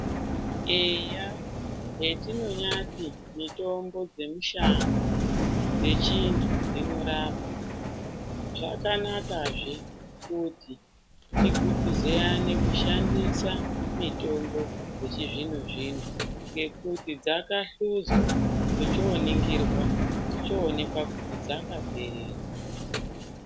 Eya, hetinonyati mitombo dzemushango dzechindu dzinorapa, zvakanakazve kuti tiguguziyane kushandisa mitombo yechizvino-zvino, ngekuti dzakahluzwa dzochoningirwa dzochoonekwa kuti dzakaperera.